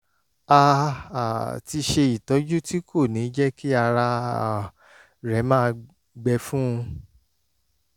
a um ti ṣe ìtọ́jú tí kò ní jẹ́ kí ara um rẹ̀ máa gbẹ fún un